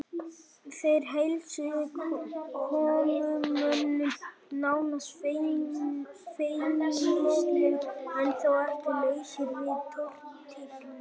Þeir heilsuðu komumönnum nánast feimnislega en þó ekki lausir við tortryggni.